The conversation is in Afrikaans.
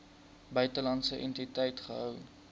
buitelandse entiteit gehou